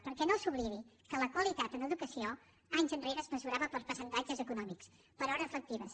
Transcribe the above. perquè no s’oblidi que la qualitat en educació anys enrere es mesurava per percentatges econòmics per hores lectives